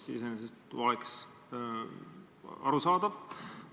See oleks iseenesest arusaadav.